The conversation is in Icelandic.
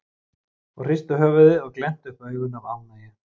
og hristu höfuðið og glenntu upp augun af ánægju.